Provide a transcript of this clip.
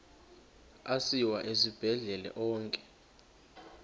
asiwa esibhedlele onke